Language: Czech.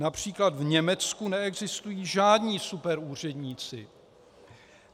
Například v Německu neexistují žádní superúředníci.